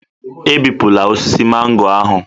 Ebipụla osisi mango ahụ